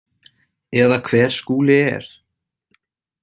Eða hver Skúli er.